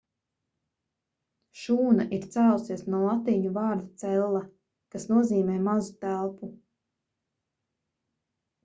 šūna ir cēlusies no latīņu vārda cella' kas nozīmē mazu telpu